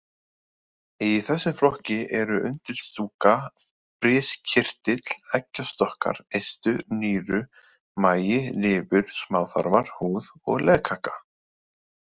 Í þessum flokki eru undirstúka, briskirtill, eggjastokkar, eistu, nýru, magi, lifur, smáþarmar, húð og legkaka.